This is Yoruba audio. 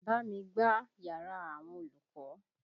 Bá mi gbá yàrá àwọn olùkọ́!